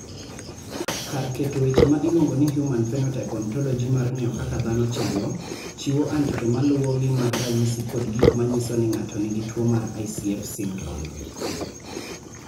Kar keto weche ma iluongo ni Human Phenotype Ontology mar ng�eyo kaka dhano chalo, chiwo andike ma luwogi mag ranyisi kod gik ma nyiso ni ng�ato nigi tuo mar ICF syndrome.